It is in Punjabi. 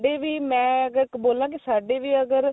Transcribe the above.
ਸਾਡੇ ਵੀ ਮੈਂ ਅਗਰ ਬੋਲਾ ਕੀ ਸਾਡੇ ਵੀ ਅਗਰ